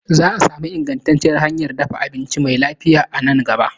Zaa sami ingantacciyar hanyan dafa abinci mai lafiya a nan gaba